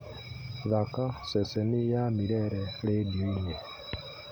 thaaka ceceni ya milele rĩndiũ-inĩ